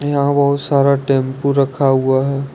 यहां बहुत सारा टेंपू रखा हुआ है।